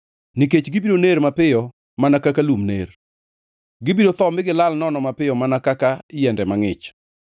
nikech gibiro ner mapiyo mana kaka lum ner; gibiro tho mi gilal nono mapiyo mana kaka yiende mangʼich.